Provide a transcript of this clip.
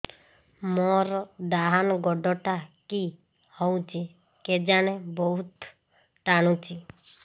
ମୋର୍ ଡାହାଣ୍ ଗୋଡ଼ଟା କି ହଉଚି କେଜାଣେ ବହୁତ୍ ଟାଣୁଛି